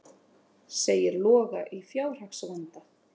Segir Loga í fjárhagsvanda